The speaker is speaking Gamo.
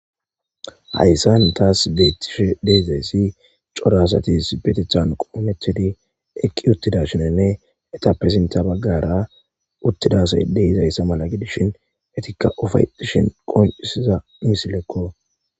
Hayssan taas beettishe deezayssi corasati sibetethan qoometidi eqqi uttidashinanne etappesinta baggara uttidasayde hizayssa mala gidishin etikka ofayetishin qoncisiza nisilekko